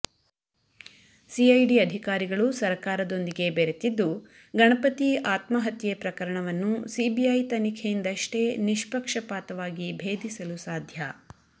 CID ಅಧಿಕಾರಿಗಳು ಸರಕಾರದೊಂದಿಗೆ ಬೆರೆತಿದ್ದು ಗಣಪತಿ ಆತ್ಮಹತ್ಯೆ ಪ್ರಕರಣವನ್ನು ಸಿಬಿಐ ತನಿಖೆಯಿಂದಷ್ಟೇ ನಿಷ್ಪಕ್ಷಪಾತವಾಗಿ ಭೇದಿಸಲು ಸಾಧ್ಯ